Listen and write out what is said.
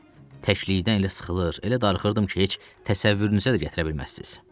Təklikdən elə sıxılır, elə darıxırdım ki, heç təsəvvürünüzə də gətirə bilməzsiz.